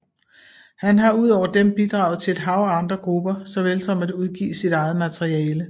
Han har udover dem bidraget til et hav af andre grupper såvel som at udgive sit eget materiale